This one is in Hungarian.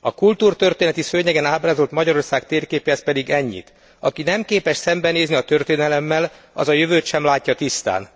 A kultúrtörténeti szőnyegen ábrázolt Magyarország térképéhez pedig ennyit aki nem képes szembenézni a történelemmel, az a jövőt sem látja tisztán.